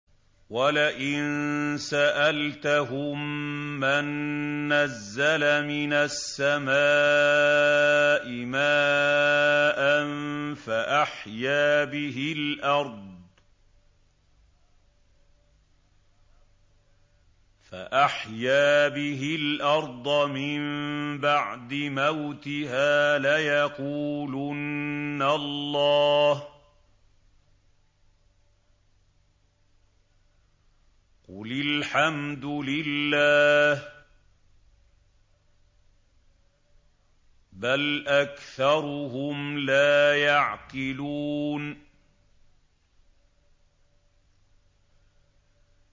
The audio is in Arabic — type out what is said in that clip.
وَلَئِن سَأَلْتَهُم مَّن نَّزَّلَ مِنَ السَّمَاءِ مَاءً فَأَحْيَا بِهِ الْأَرْضَ مِن بَعْدِ مَوْتِهَا لَيَقُولُنَّ اللَّهُ ۚ قُلِ الْحَمْدُ لِلَّهِ ۚ بَلْ أَكْثَرُهُمْ لَا يَعْقِلُونَ